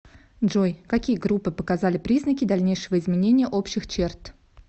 джой какие группы показали признаки дальнейшего изменения общих черт